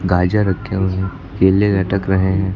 गाजर रखे हुए हैं केले लटक रहे हैं।